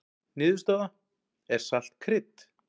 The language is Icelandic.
Niðurstaða: Er salt krydd?